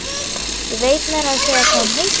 Ég veit meira að segja hvað hún heitir.